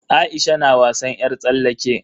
Aisha na wasan yar tsallake.